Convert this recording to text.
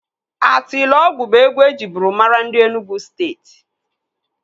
Atilogwu bụ egwu ejiburu mara ndị Enugu Steeti.